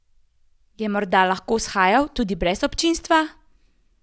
Je morda lahko shajal tudi brez občinstva?